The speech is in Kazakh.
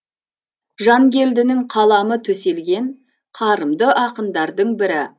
жангелдінің қаламы төселген қарымды ақындардың бірі